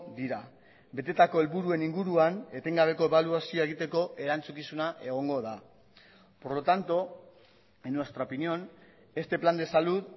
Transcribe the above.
dira betetako helburuen inguruan etengabeko ebaluazioa egiteko erantzukizuna egongo da por lo tanto en nuestra opinión este plan de salud